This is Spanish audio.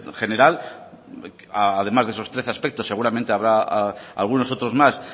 general además de esos trece aspectos seguramente habrá algunos otros más